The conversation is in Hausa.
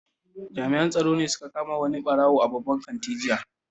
Jami'an tsaro sun kama wani barawo a babban kanti jiya.